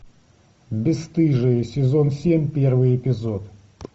бесстыжие сезон семь первый эпизод